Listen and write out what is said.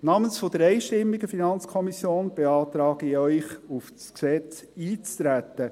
Namens der einstimmigen FiKo beantrage ich Ihnen, auf dieses Gesetz einzutreten.